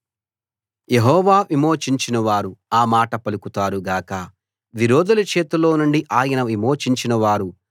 యెహోవా విమోచించినవారు ఆ మాట పలుకుతారు గాక విరోధుల చేతిలోనుండి ఆయన విమోచించిన వారూ